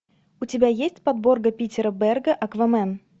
у тебя есть подборка питера берга аквамен